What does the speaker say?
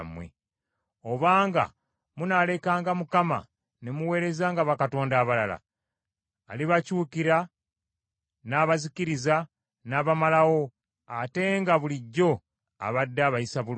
Obanga munaalekanga Mukama , ne muweerezanga bakatonda abalala, alibakyukira n’abazikiriza n’abamalawo ate nga bulijjo abadde abayisa bulungi.”